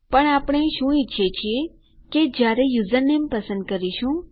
પણ આપણે શું ઈચ્છીએ છીએ કે જયારે યુઝરનેમ પસંદ કરીશું